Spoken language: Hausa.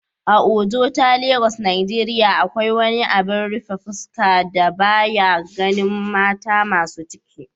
a Ojota Lagos Nigeria, akwai wani abin rufe fuska da ba ya ganin mata masu ciki